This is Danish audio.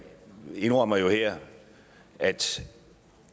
indrømmer jo her at